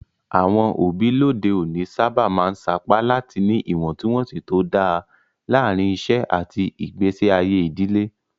Àwọn òbí lóde òní sábà máa ń sapá láti ní ìwọ̀ntúnwọ̀nsì tó dáa láàárín iṣẹ́ àti ìgbésí ayé ìdílé.